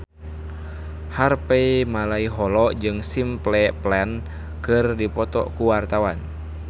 Harvey Malaiholo jeung Simple Plan keur dipoto ku wartawan